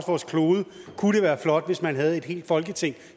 vores klode kunne det være flot hvis man havde helt folketing